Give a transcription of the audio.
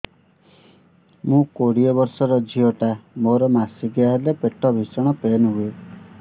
ମୁ କୋଡ଼ିଏ ବର୍ଷର ଝିଅ ଟା ମୋର ମାସିକିଆ ହେଲେ ପେଟ ଭୀଷଣ ପେନ ହୁଏ